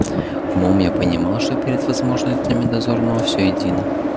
умом я понимал что перед возможностями дозорного все едино